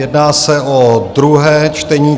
Jedná se o druhé čtení.